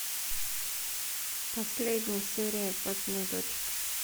последняя серия папиных дочек